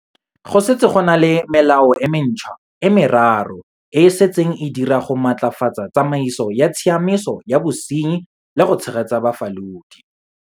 Go setse go na le melao e mentšhwa e meraro e e setseng e dira go maatlafatsa tsamaiso ya tshiamiso ya bosenyi le go tshegetsa bafalodi.